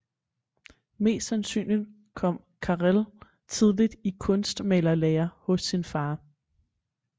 Mest sandsynligt kom carel tidligt i kunstmalerlærer hos sin far